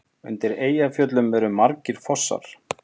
Undir Eyjafjöllum eru margir fossar.